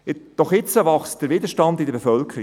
Doch jetzt wächst der Widerstand in der Bevölkerung.